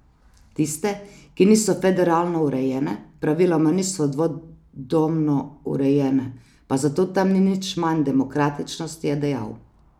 Tiste, ki niso federalno urejene, praviloma niso dvodomno urejene, pa zato tam ni nič manj demokratičnosti, je dejal.